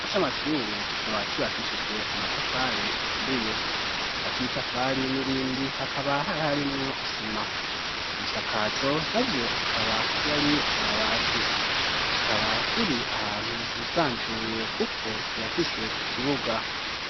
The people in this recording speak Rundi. Ikigo c'amashure kikaba cubakishijwe amatafari aturiye hagati y'itafari n'irindi hakaba hari harimwo isima ibisakazo na vyo akaba yari amabati kikaba kiri ahantu hisanzuye kuko kirafise ikibuga.